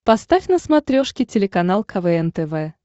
поставь на смотрешке телеканал квн тв